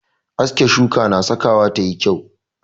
Aske shuka na sakawa ta yi kyau.